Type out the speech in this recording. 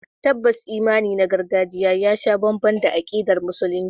Tabbas imani na gargajiya ya sha bamban da akidar Musulunci.